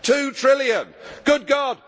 Two trillion good God!